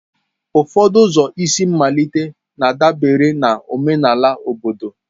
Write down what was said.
Ụfọdụ ụzọ isi mmalite na-adabere na omenala obodo.